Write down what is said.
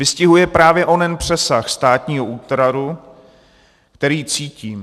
Vystihuje právě onen přesah státního útvaru, který cítím.